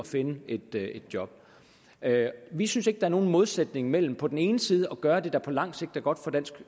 finde et job vi synes ikke der er nogen modsætning mellem på den ene side at gøre det der på lang sigt er godt for dansk